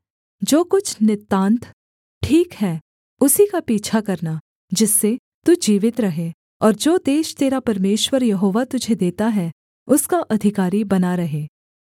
जो कुछ नितान्त ठीक है उसी का पीछा करना जिससे तू जीवित रहे और जो देश तेरा परमेश्वर यहोवा तुझे देता है उसका अधिकारी बना रहे